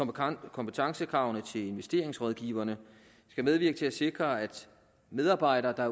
kompetencekravene til investeringsrådgiverne skal medvirke til at sikre at medarbejdere der